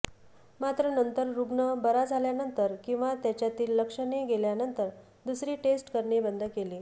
मात्र नंतर रुग्ण बरा झाल्यानंतर किंवा त्याच्यातील लक्षणे गेल्यानंतर दुसरी टेस्ट करणे बंद केले